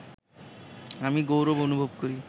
আমি গৌরব অনুভব করি